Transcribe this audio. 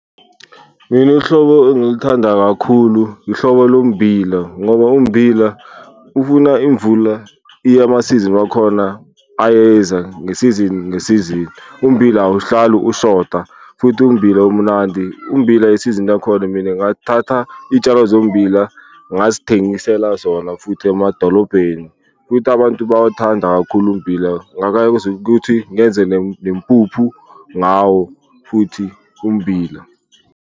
Mina uhlobo engiluthanda kakhulu ihlobo lommbila ngoba ummbila ufuna imvula iya amasizini wakhona ayeza ngesizini ngesizini, ummbila awuhlali ushoda futhi ummbila umnandi, ummbila yisizini yakhona mina ngathatha iy'tshalo zommbila ngazithengisela zona futhi emadolobheni. Futhi abantu bayawuthanda kakhulu ummbila, ngakwazi kwenza ukuthi ngenze nempuphu ngawo futhi ummbila.